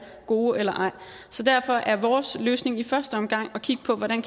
gode eller ej så derfor er vores løsning i første omgang at kigge på hvordan